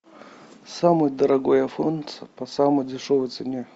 самый дорогой айфон по самой дешевой цене